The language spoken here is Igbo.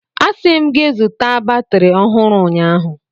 Asị m gị zụta batrị ọhụrụ ụnyaahụ!